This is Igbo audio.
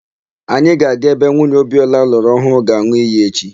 Anyị ga-aga ebe nwunye Obiora lụrụ ọhụụ ga-an̄ụ iyi echi.